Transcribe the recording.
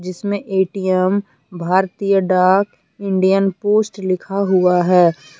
जिसमें ATM Bharatiya Dak Indian post लिखा हुआ है।